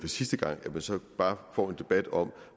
sidste gang at man så bare får en debat om